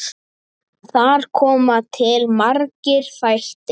Þar koma til margir þættir.